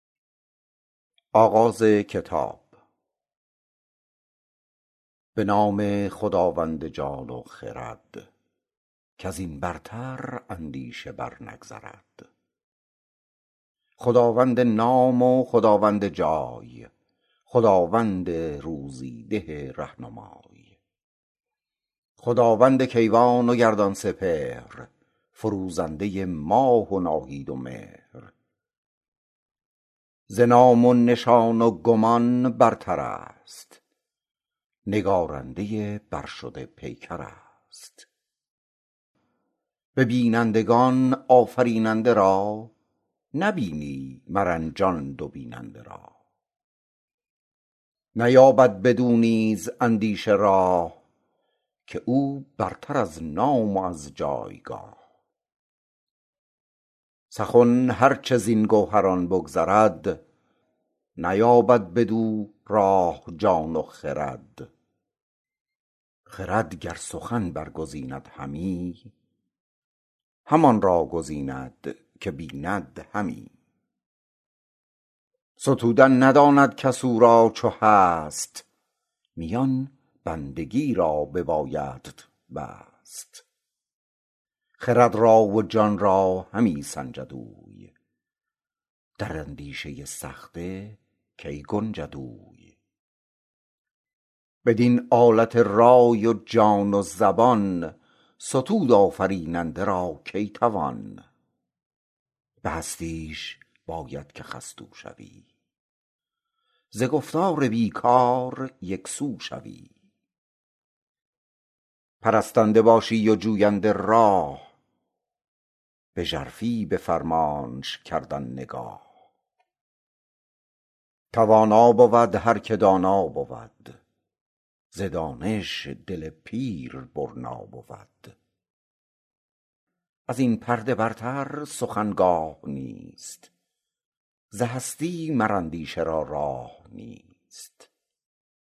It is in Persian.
به نام خداوند جان و خرد کز این برتر اندیشه بر نگذرد خداوند نام و خداوند جای خداوند روزی ده رهنمای خداوند کیوان و گردان سپهر فروزنده ماه و ناهید و مهر ز نام و نشان و گمان برتر است نگارنده برشده پیکر است به بینندگان آفریننده را نبینی مرنجان دو بیننده را نیابد بدو نیز اندیشه راه که او برتر از نام و از جایگاه سخن هر چه زین گوهران بگذرد نیابد بدو راه جان و خرد خرد گر سخن برگزیند همی همان را گزیند که بیند همی ستودن نداند کس او را چو هست میان بندگی را ببایدت بست خرد را و جان را همی سنجد اوی در اندیشه سخته کی گنجد اوی بدین آلت رای و جان و زبان ستود آفریننده را کی توان به هستیش باید که خستو شوی ز گفتار بی کار یکسو شوی پرستنده باشی و جوینده راه به ژرفی به فرمانش کردن نگاه توانا بود هر که دانا بود ز دانش دل پیر برنا بود از این پرده برتر سخن گاه نیست ز هستی مر اندیشه را راه نیست